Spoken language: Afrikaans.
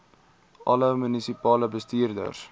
alle munisipale bestuurders